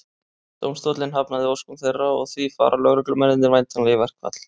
Dómstóllinn hafnaði óskum þeirra og því fara lögreglumennirnir væntanlega í verkfall.